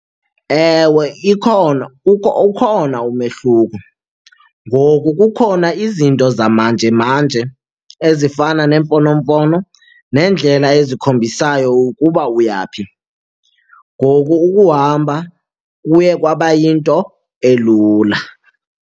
Ewe, ikhona ukhona umehluko. Ngoku kukhona izinto zamanjemanje ezifana neemfonomfono nendlela ezikhombisayo ukuba uya phi, ngoku ukuhamba kuye kwaba yinto elula.